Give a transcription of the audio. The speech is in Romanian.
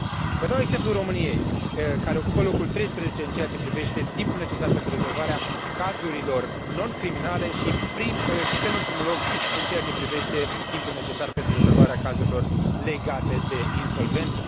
Vă dau exemplul României, care ocupă locul 13 în ceea ce privește timpul necesar pentru rezolvarea cazurilor non criminale și penultimul loc în ceea ce privește timpul necesar pentru rezolvarea cazurilor legate de insolvență.